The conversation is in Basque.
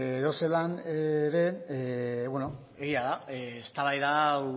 edozelan ere egia da eztabaida hau